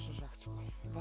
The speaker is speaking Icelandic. svo svekkt